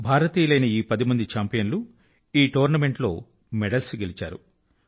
మన దేశస్తులైన ఈ పది మంది చాంపియన్లు ఈ టోర్నమెంట్ లో మెడల్స్ గెలిచారు